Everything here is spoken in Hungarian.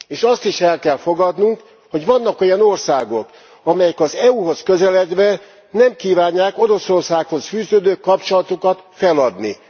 És azt is el kell fogadnunk, hogy vannak olyan országok, amelyek az EU hoz közeledve nem kívánják Oroszországhoz fűződő kapcsolatukat feladni.